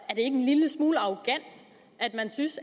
at man synes